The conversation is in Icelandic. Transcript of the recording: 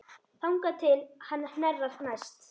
Þangað til hann hnerrar næst.